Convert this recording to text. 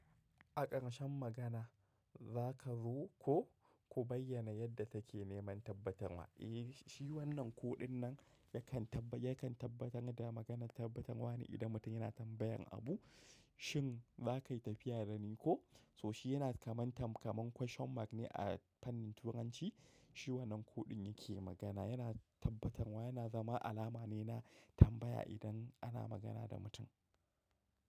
A ƙarshen magana za ka zo ko? Ku bayyana yadda take ne man tabbatarma. Eh, shi wannan kuɗin nan yakan ta- tabbatar da maganar tabbatarwa ne idan mutum yana tambayan abu. Shin za ka yi tafiya da ni ko? So shi yana kamam tam-kaman kwashen mak ne a fannin Turanci. Shi wannan kuɗin yake magana. Yana tabbatarwa, yana zama alama ne na tambaya idan ana magana da mutum.